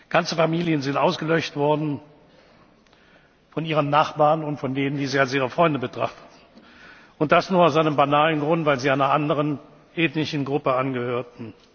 Babys. Ganze Familien sind ausgelöscht worden von ihren Nachbarn und von denen, die sie als ihre Freunde betrachteten, und das nur aus dem banalen Grund, weil sie einer anderen ethnischen Gruppe